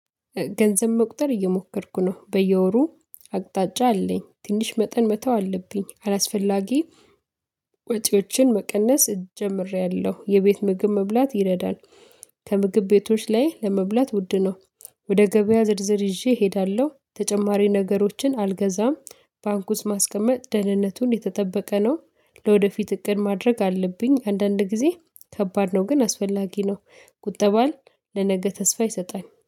ገንዘብ መቁጠር እየሞከርኩ ነው በየወሩ አቅጣጫ አለኝ ትንሽ መጠን መተው አለብኝ። አላስፈላጊ ወጪዎችን መቀነስ ጀምሬያለሁ የቤት ምግብ መብላት ይረዳል። ከምግብ ቤቶች ላይ ለመብላት ውድ ነው። ወደ ገበያ ዝርዝር ይዤ እሄዳለሁ ተጨማሪ ነገሮችን አልገዛም። ባንክ ውስጥ ማስቀመጥ ደህንነቱን የተጠበቀ ነው። ለወደፊት እቅድ ማድረግ አለብኝ አንዳንድ ጊዜ ከባድ ነው ግን አስፈላጊ ነው። ቁጠባ ለነገ ተስፋ ይሰጣል